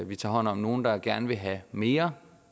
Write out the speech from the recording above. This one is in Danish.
vi tager hånd om nogle der gerne vil have mere